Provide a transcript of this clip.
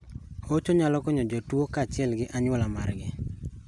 Hocho nyalo konyo jotuo kachiel gi anyuola margi.